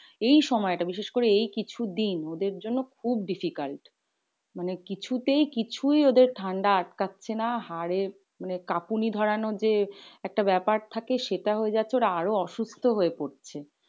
এই সময়টা বিশেষ করে এই কিছু দিন ওদের জন্য খুব difficult. মানে কিছু তেই কিছুই ওদের ঠান্ডা আটকাচ্ছে না। হাড়ে কাঁপুনি ধরানো যে একটা ব্যাপার থাকে সেটা হয়ে যাচ্ছে। ওরা আরো অসুস্থ হয়ে পড়ছে।